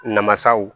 Namasaw